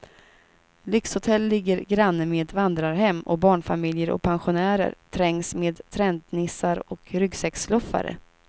Lyxhotell ligger granne med vandrarhem och barnfamiljer och pensionärer trängs med trendnissar och ryggsäcksluffare.